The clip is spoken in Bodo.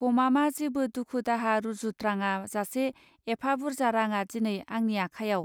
गमामा जेबो दुखु दाहा रूजुत्राङा जासे एफा बुरजा रांङा दिनै आंनि आखायाव.